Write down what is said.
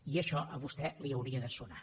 i això a vostè li hauria de sonar